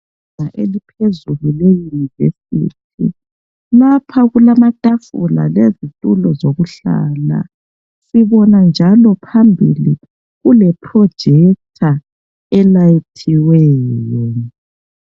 Ibanga eliphezulu leyunivesithi lapha kulamatafula lezitulo zokuhlala sibona njalo phambili kule projector elayithiweyo.